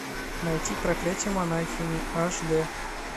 найти проклятие монахини аш дэ